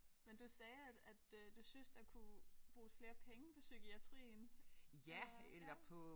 Men du sagde at at øh du syntes der kunne bruges flere penge på psykiatrien eller hvad?